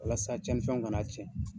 Walasa cɛnin fɛnw kan'a tiɲɛ